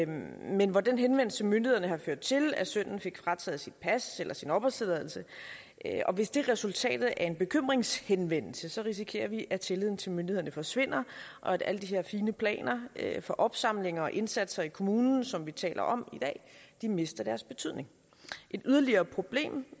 men hvor den henvendelse til myndighederne har ført til at sønnen fik frataget sit pas eller sin opholdstilladelse hvis det er resultatet af en bekymringshenvendelse risikerer vi at tilliden til myndighederne forsvinder og at alle de her fine planer for opsamling og indsatser i kommunen som vi taler om i dag mister deres betydning et yderligere problem